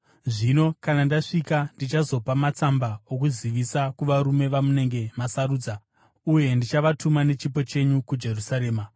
Zvino, kana ndasvika, ndichazopa matsamba okuzivisa kuvarume vamunenge masarudza uye ndichavatuma nechipo chenyu kuJerusarema.